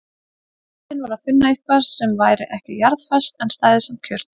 Vandinn var að finna eitthvað sem væri ekki jarðfast en stæði samt kjurt.